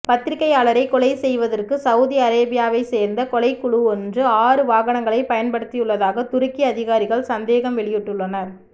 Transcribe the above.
பத்திரிகையாளரை கொலை செய்வதற்கு சவுதி அரேபியாவை சேர்ந்த கொலைகுழுவொன்று ஆறு வாகனங்களை பயன்படுத்தியுள்ளதாக துருக்கி அதிகாரிகள் சந்தேகம் வெளியிட்டுள்ளனர்